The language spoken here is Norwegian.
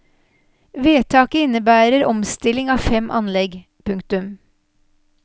Vedtaket innebærer omstilling av fem anlegg. punktum